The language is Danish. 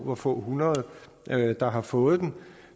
hvor få hundrede der har fået den